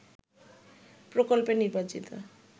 প্রকল্পে নির্বাচিত